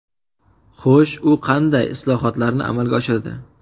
Xo‘sh, u qanday islohotlarni amalga oshirdi?